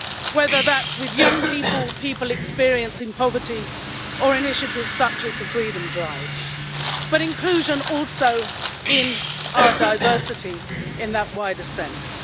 whether that's with young people, people experiencing poverty, or initiatives such as the Freedom Drive, but inclusion also in our diversity in that wider sense.